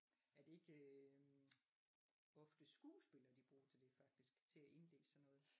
Er det ikke øh åh det er skuespillere de bruger til det faktisk til at indlæse sådan noget